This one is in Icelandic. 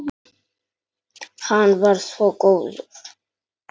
Hann var svo góður.